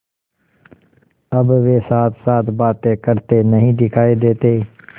अब वे साथसाथ बातें करते नहीं दिखायी देते